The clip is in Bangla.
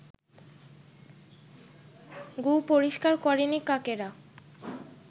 গু-পরিষ্কার করেনি কাকেরা